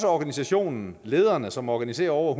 organisationen lederne som organiserer over